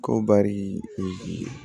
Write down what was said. Ko bari